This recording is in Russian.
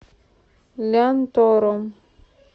лянтором